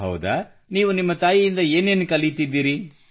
ಹೌದಾ ನೀವು ನಿಮ್ಮ ತಾಯಿಯಿಂದ ನೀವು ಏನೇನು ಕಲಿಯುತ್ತಿದ್ದೀರಿ